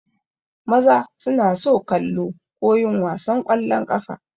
Maza suna so kallo ko yin wasan ƙwallon ƙafa.